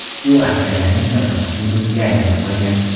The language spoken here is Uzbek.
U askarlarning sadoqatli do‘stiga aylanib qolgan.